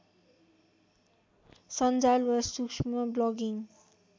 सन्जाल वा सूक्ष्म ब्लगिङ्